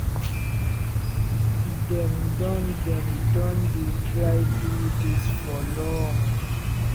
dem don dem don dey try do dis for long."